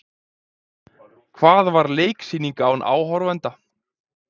Hvað var leiksýning án áhorfenda?